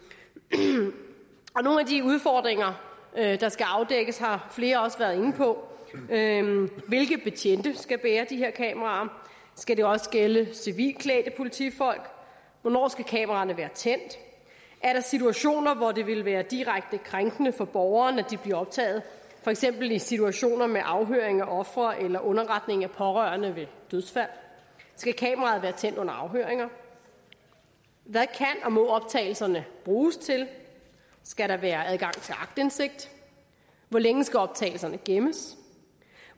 og nogle af de udfordringer der skal afdækkes har flere også været inde på hvilke betjente skal bære de her kameraer skal det også gælde civilklædte politifolk hvornår skal kameraerne være tændt er der situationer hvor det ville være direkte krænkende for borgerne at blive optaget for eksempel i situationer med afhøring af ofre eller underretning af pårørende ved dødsfald skal kameraerne være tændt under afhøringer hvad kan og må optagelserne bruges til skal der være adgang til aktindsigt hvor længe skal optagelserne gemmes